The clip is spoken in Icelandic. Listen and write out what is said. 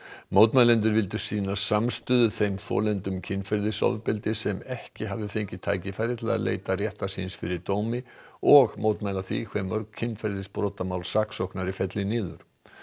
mótmælendur vildu sýna samstöðu þeim þolendum kynferðisofbeldis sem ekki hafi fengið tækifæri til að leita réttar síns fyrir dómi og mótmæla því hve mörg kynferðisbrotamál saksóknari felli niður